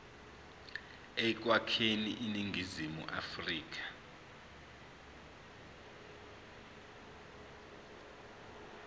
ekwakheni iningizimu afrika